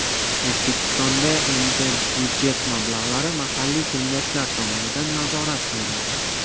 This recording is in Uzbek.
O‘zbekistonda endi budjet mablag‘lari mahalliy kengashlar tomonidan nazorat qilinadi.